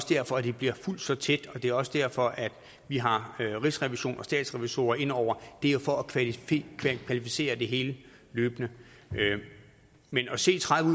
derfor at det bliver fulgt så tæt og det er også derfor at vi har rigsrevisionen og statsrevisorer ind over det er jo for at kvalificere det hele løbende men at se tredive